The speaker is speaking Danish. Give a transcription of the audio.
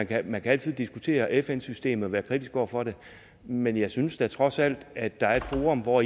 kan man altid diskutere fn systemet og være kritisk over for det men jeg synes da trods alt at der er et forum hvor